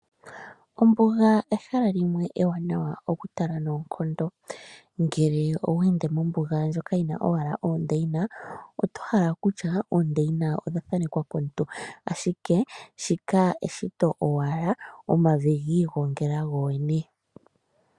Ombuga ehala limwe ewanawa okutala noonkondo, ngele oweende mombuga ndjoka yina ashike oondeina oto hala kutya odha thanekwa komuntu ashike shika eshito owala omavi giigongela gogene.